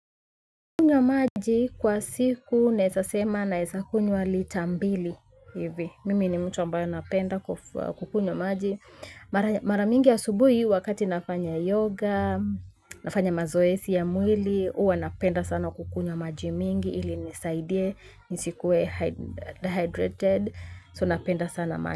Kukunywa maji kwa siku naesa sema naesa kunywa ita mbili hivi, mimi ni mtu ambayo napenda kukunywa maji. Mara mingi asubuhi wakati nafanya yoga, nafanya mazoesi ya mwili, uwa napenda sana kukunywa maji mingi ili inisaidie nisikuwe dehydrated So napenda sana maji.